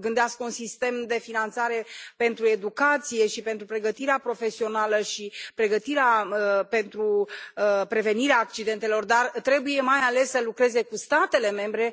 gândească un sistem de finanțare pentru educație și pentru pregătirea profesională și pregătirea pentru prevenirea accidentelor, dar trebuie mai ales să lucreze cu statele membre,